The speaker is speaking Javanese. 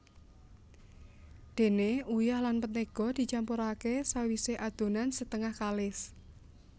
Déné uyah lan mentéga dicampuraké sawisé adonan setengah kalis